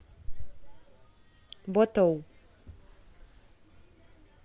ботоу